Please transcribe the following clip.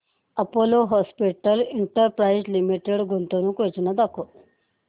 Apollo Hospitals Enterprise Limited गुंतवणूक योजना दाखव